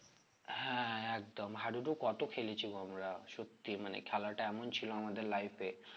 হ্যাঁ একদম হাডুডু কত খেলেছি গো আমারা সত্যি মানে খেলাটা এমন ছিল আমাদের life এ